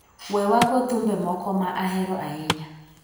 We wago thumbe moko ma ahero ahinya.